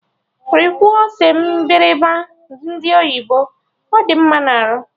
Rikwuo ose mgbịrịgba ndị oyibo, ọ dị mma na arụ!